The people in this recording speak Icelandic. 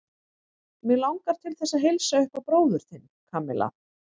Mig langar til þess að heilsa upp á bróður þinn, Kamilla.